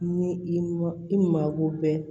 Ni i ma i mako bɛɛ